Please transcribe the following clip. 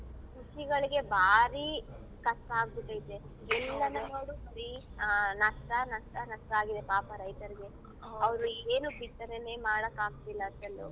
ರೈತ್ರ್ಗಳಿಗೆ ಭಾರಿ ಕಷ್ಟ ಆಗ್ಬಿಟೈತೆ ಎಲ್ಲನು ನೋಡು ಬರೀ ನಷ್ಟ ನಷ್ಟ ನಷ್ಟ ಆಗಿದೆ ಪಾಪ ರೈತರಿಗೆ ಏನು ಬಿತ್ತನೆನೆ ಮಾಡಕ್ ಆಗ್ತಿಲ್ಲ ಎಲ್ಲು.